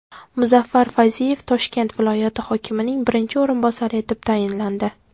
Muzaffar Fayziyev Toshkent viloyati hokimining birinchi o‘rinbosari etib tayinlandi.